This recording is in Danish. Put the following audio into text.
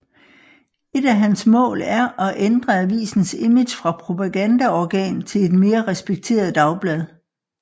Et af hans mål er at ændre avisens image fra propagandaorgan til et mere respekteret dagblad